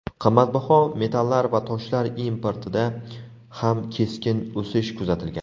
Qimmatbaho metallar va toshlar importida ham keskin o‘sish kuzatilgan.